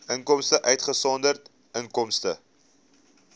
inkomste uitgesonderd inkomste